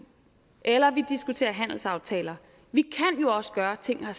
eller at vi diskuterer handelsaftaler vi kan jo også gøre ting